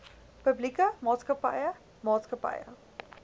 publieke maatskappye maatskappye